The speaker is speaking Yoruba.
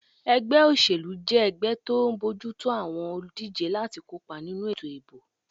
Ẹgbẹ́ òṣèlú jẹ́ ẹgbẹ́ tó ń bójú tó àwọn olùdíjé láti kópa nínú ètò ìbò